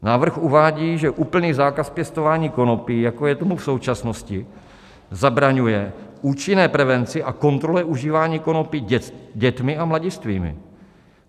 Návrh uvádí, že úplný zákaz pěstování konopí, jako je tomu v současnosti, zabraňuje účinné prevenci a kontrole užívání konopí dětmi a mladistvými.